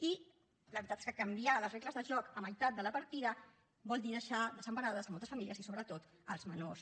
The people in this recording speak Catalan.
i la veritat és que canviar les regles de joc a meitat de la partida vol dir deixar desemparades moltes famílies i sobretot els menors